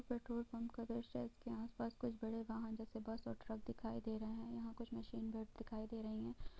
Petrol pump का द्रश्य है| इसके आस-पास कुछ बड़े वाहन जेसे बस और ट्रक दिखाई दे रहे हैं| यहाँ कुछ मशीन दिखाई दे रही है।